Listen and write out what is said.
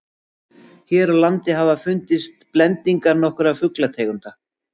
hér á landi hafa fundist blendingar nokkurra fuglategunda